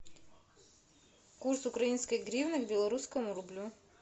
курс украинской гривны к белорусскому рублю